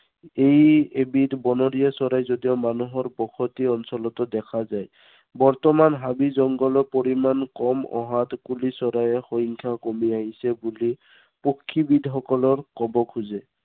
ই এবিধ বনৰীয়া চৰাই যদিও মানুহৰ বসতি অঞ্চলতো দেখা যায়। বৰ্তমান হাবি জংঘলৰ পৰিমান কম অহাত কুলি চৰাইৰ সংখ্য়াও কমি আহিছে বুলি পক্ষীবীদসকলৰ কব খোজে।